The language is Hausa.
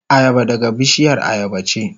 Ayaba daga bishiyar ayaba ce.